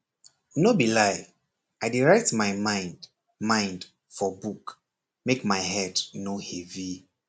no be lie i dey write my mind mind for book make my head no heavy